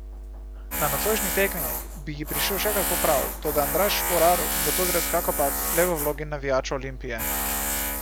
Na nocojšnji tekmi bi ji prišel še kako prav, toda Andraž Šporar bo tokrat kakopak le v vlogi navijača Olimpije.